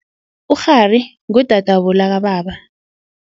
Ukghari ngudadwabo lakababa.